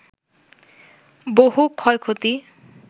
বহু ক্ষয়ক্ষতি